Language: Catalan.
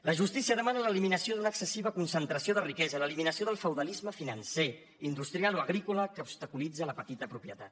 la justícia demana l’eliminació d’una excessiva concentració de riquesa l’eliminació del feudalisme financer industrial o agrícola que obstaculitza la petita propietat